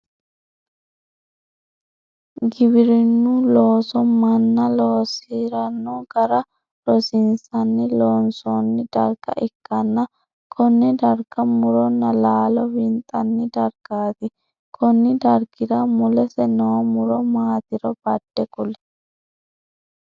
Giwirinu looso manna loosirano gara rosiinsenna loonsoonni darga ikanna Kone darga muronna laallo winxanni dargaati konni dargira mulesi noo muro maatiro bade kuli?